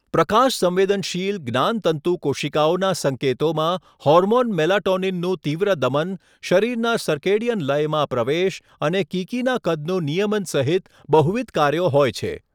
પ્રકાશસંવેદનશીલ જ્ઞાનતંતુ કોશિકાઓના સંકેતોમાં હોર્મોન મેલાટોનિનનું તીવ્ર દમન, શરીરના સર્કેડિયન લયમાં પ્રવેશ અને કીકીના કદનું નિયમન સહિત બહુવિધ કાર્યો હોય છે.